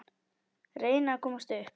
Reyna að komast upp.